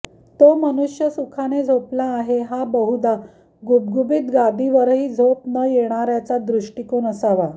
तो मनुष्य सुखाने झोपला आहे हा बहुदा गुबगुबीत गादीवरही झोप न येणार्याचा दृष्टीकोन असावा